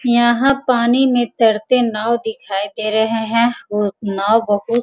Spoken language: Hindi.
यहाँ पानी में तैरते नाव दिखाई दे रहे हैं और नाव बहुत --